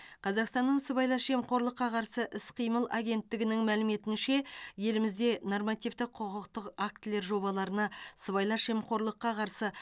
қазақстанның сыбайлас жемқорлыққа қарсы іс қимыл агенттігінің мәліметінше елімізде нормативті құқықтық актілер жобаларына сыбайлас жемқорлыққа қарсы